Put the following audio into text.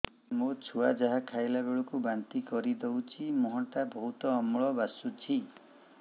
ମୋ ଛୁଆ ଯାହା ଖାଇଲା ବେଳକୁ ବାନ୍ତି କରିଦଉଛି ମୁହଁ ଟା ବହୁତ ଅମ୍ଳ ବାସୁଛି